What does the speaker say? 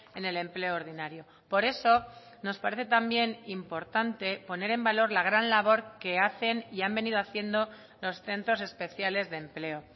en el empleo ordinario por eso nos parece también importante poner en valor la gran labor que hacen y han venido haciendo los centros especiales de empleo